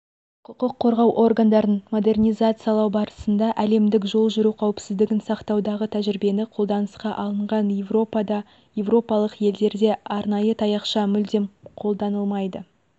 құқық қорғау органдарын модернизациялау барысында әлемдік жол жүру қауіпсіздігін сақтаудағы тәжірибиені қолданысқа алынған еуропада еуропалық елдерде арнайы таяқша мүлдем қолданылмайды